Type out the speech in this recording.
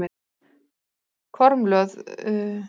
Kormlöð, bókaðu hring í golf á laugardaginn.